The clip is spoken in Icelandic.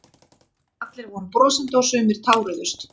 Allir voru brosandi og sumir táruðust